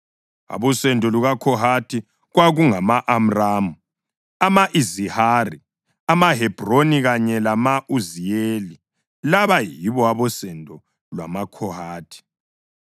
Abosendo lukaKhohathi kwakungama-Amramu, ama-Izihari, amaHebhroni kanye lama-Uziyeli. Laba yibo abosendo lwamaKhohathi.